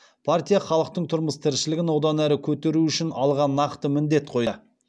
партия халықтың тұрмыс тіршілігін одан әрі көтеру үшін алға нақты міндет қоя